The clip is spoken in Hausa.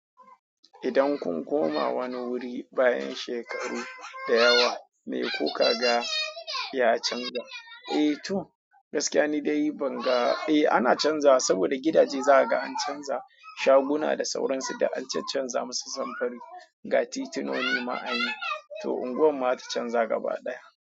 Idan kun koma wani wuri bayan shekaru da yawa, me kuka ga ya canza? Eh to gaskiya ni dai ban ga, eh ana canza saboda gidaje za a ga an canza, shaguna da sauransu da an canza musu samfuri, gati tunoni ma anyi, to unguwar mu ma ta canza gaba ɗaya.